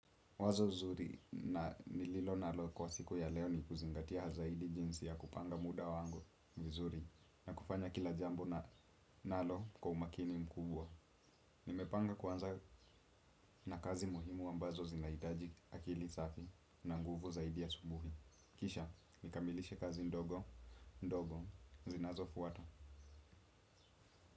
Wazo zuri na nililonalo kwa siku ya leo ni kuzingatia zaidi jinsi ya kupanga muda wangu mzuri na kufanya kila jambo na nalo kwa umakini mkubwa. Nimepanga kuanza na kazi muhimu ambazo zinahitaji akili safi na nguvu zaidi asubuhi. Kisha, nikamilishe kazi ndogo, ndogo, zinazofuata.